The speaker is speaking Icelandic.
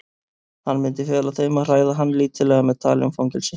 Hann myndi fela þeim að hræða hann lítillega með tali um fangelsi.